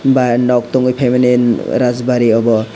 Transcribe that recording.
bai arnab tongwi phaimani rajbari abo.